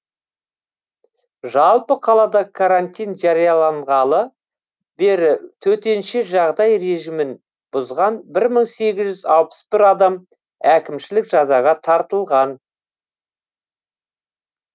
жалпы қалада карантин жарияланғалы бері төтенше жағдай режимін бұзған бір мың сегіз жүз алпыс бір адам әкімшілік жазаға тартылған